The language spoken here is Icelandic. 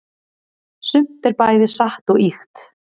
sumt er bæði satt og ýkt